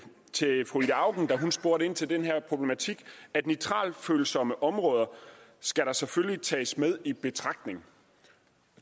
fru ida auken da hun spurgte ind til den her problematik at nitratfølsomme områder selvfølgelig skal tages med i betragtning